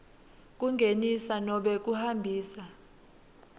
kungenisa nobe kuhambisa